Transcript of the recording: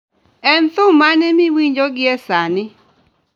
En thum mane miwinjo gie sani